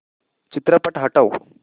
चित्रपट हटव